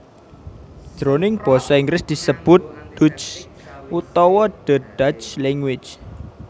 Jroning Basa Inggris disebut Dutch utawa the Dutch Language